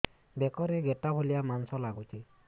ବେକରେ ଗେଟା ଭଳିଆ ମାଂସ ଲାଗୁଚି